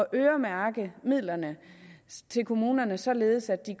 øremærke midlerne til kommunerne således at de